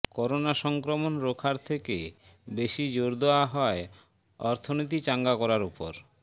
corona সংক্রমণ রোখার থেকে বেশি জোর দেওয়া হয় অর্থনীতি চাঙ্গা করার উপর